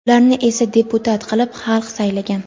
Ularni esa deputat qilib xalq saylagan.